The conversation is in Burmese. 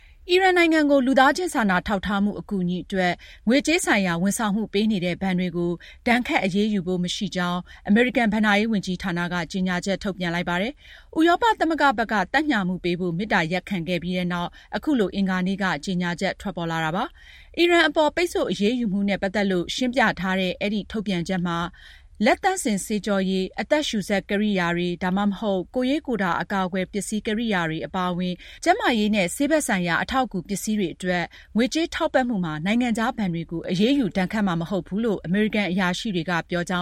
အီရန်နိုင်ငံကို လူသားချင်းစာနာထောက်ထားမှု အကူအညီအတွက် ငွေကြေးဆိုင်ရာဝန်ဆောင်မှုပေးနေတဲ့ ဘဏ်တွေကို ဒဏ်ခတ်အရေးယူဖို့ မရှိကြောင်း အမေရိကန် ဘဏ္ဍာရေးဝန်ကြီးဌာနက အင်္ဂါနေ့က ကြေညာချက် ထုတ်ပြန်လိုက်ပါတယ်။ ဥရောပသမဂ္ဂဘက်က သက်ညှာမှုပေးဖို့ မေတ္တာရပ်ခံခဲ့ပြီးနောက် အခုလို ကြေညာချက် ထွက်ပေါ်လာတာပါ။ အီရန်အပေါ် ပိတ်ဆို့အရေးယူမှုနဲ့ ပတ်သက်လို့ ရှင်းပြတဲ့ ထုတ်ပြန်ချက်မှာ- လက်သန့်စင်ဆေးကြောရည်၊ အသက်ရှူစက်ကိရိယာတွေ ဒါမှမဟုတ် ကိုယ်ရေးကိုယ်တာ အကာအကွယ်ပစ္စည်းကိရိယာတွေ အပါအဝင် ကျန်းမာရေးနဲ့ဆေးဘက်ဆိုင်ရာ အထောက်အကူ ပစ္စည်းတွေအတွက် ငွေကြေးထောက်ပံ့တဲ့ ကိစ္စမှာ နိုင်ငံခြားဘဏ်တွေကို အရေးယူဒဏ်ခတ်မှာ မဟုတ်ဘူးလို့ အမေရိကန်အရာရှိတွေက ပြောကြ